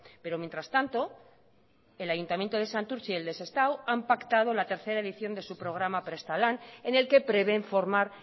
pero mientras tanto el ayuntamiento de santurtzi y el de sestao han pactado la tercera edición de su programa prestalan en el que prevén formar